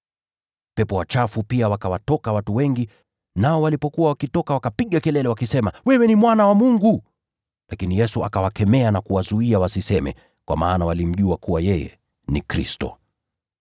Pepo wachafu pia wakawatoka watu wengi, nao walipokuwa wakitoka wakapiga kelele, wakisema: “Wewe ni Mwana wa Mungu!” Lakini Yesu akawakemea na kuwazuia wasiseme, kwa maana walimjua kuwa yeye ndiye Kristo.